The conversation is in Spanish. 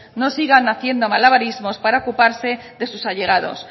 no sigan haciendo malabarismos para ocuparse de sus allegados